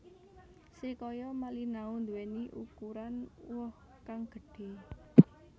Srikaya Malinau nduweni ukuran woh kang gedhe